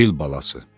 Fil balası.